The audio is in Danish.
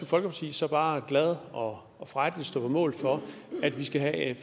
folkeparti så bare glad og frejdig stå på mål for at vi skal have et